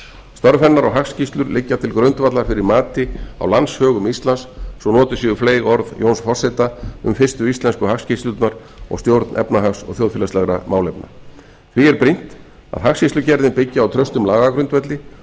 störf hennar og hagskýrslur liggja til grundvallar fyrir mati á landshögum íslands svo notuð séu fleyg orð jóns forseta um fyrstu íslensku hagskýrslurnar og stjórn efnahags og þjóðfélagslegra málefna því er brýnt að hagskýrslugerðin byggi á traustum lagagrundvelli